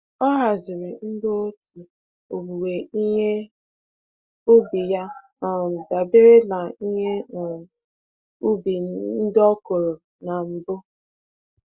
Ọ haziri ndị otu owuwe ihe ubi ya um dabere na ihe um ubi ndị ọ kụrụ na mbụ.